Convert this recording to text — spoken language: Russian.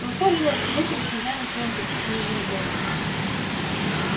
толпа ринулась к выходу сметая на своём пути книжные полки